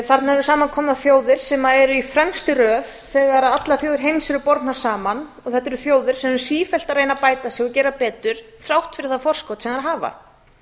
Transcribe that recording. eru samankomnar þjóðir sem eru í fremstu röð þegar allar þjóðir heims eru bornar saman og þetta eru þjóðir sem eru sífellt að reyna að bæta sig og gera betur þrátt fyrir þær forskot sem þær hafa við